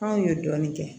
Anw ye dɔɔnin kɛ